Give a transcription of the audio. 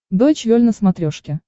дойч вель на смотрешке